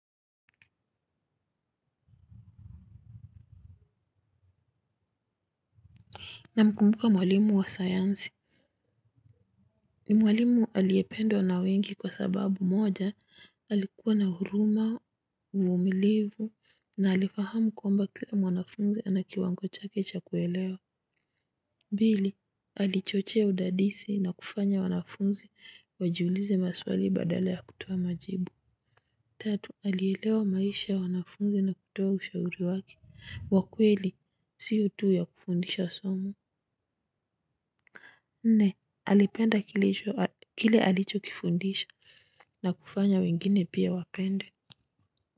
Namkumbuka mwalimu wa sayansi. Ni mwalimu aliyependwa na wengi kwa sababu moja, alikuwa na huruma, uvumilivu, na alifahamu kwamba kila mwanafunzi anakiwango chake cha kuelewa. Pili, alichochea udadisi na kufanya wanafunzi wajiulize maswali badala ya kutoa majibu. Tatu, alielewa maisha ya wanafunzi na kutoa ushauri waki. Wakweli, sio tu ya kufundisha somu. Nne alipenda kile alicho kifundisha na kufanya wengine pia wapende.